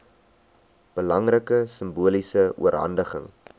belangrike simboliese oorhandiging